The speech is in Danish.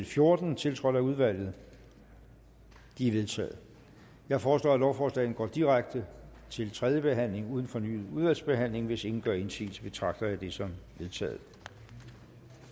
fjorten tiltrådt af udvalget de er vedtaget jeg foreslår at lovforslagene går direkte til tredje behandling uden fornyet udvalgsbehandling hvis ingen gør indsigelse betragter jeg det som vedtaget